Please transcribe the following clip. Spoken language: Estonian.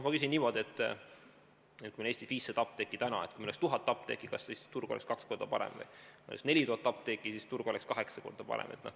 Ma küsin niimoodi: Eestis on täna 500 apteeki, aga kui oleks 1000 apteeki, kas siis turg oleks kaks korda parem, või kui oleks 4000 apteeki, kas siis turg oleks kaheksa korda parem?